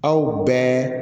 Aw bɛɛ